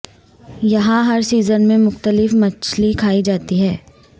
یہاں ہر سیزن میں مختلف مچھلی کھائی جاتی ہے